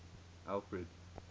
alfred